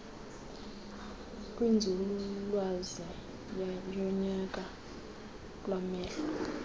kwinzululwazi yonyango lwamehlo